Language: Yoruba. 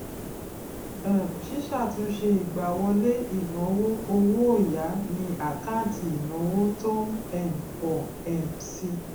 um síṣàtúnṣe ìgbáwọlé ìnáwó owó òya ni àkáǹtì ìnáwó tó ń um pọ um si